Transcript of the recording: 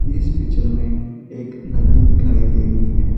इस पिक्चर मे एक नदी दिखाई दे रही है।